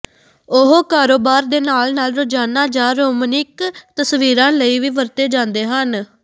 ਉਹ ਕਾਰੋਬਾਰ ਦੇ ਨਾਲ ਨਾਲ ਰੋਜ਼ਾਨਾ ਜਾਂ ਰੋਮਨਿਕ ਤਸਵੀਰਾਂ ਲਈ ਵੀ ਵਰਤੇ ਜਾਂਦੇ ਹਨ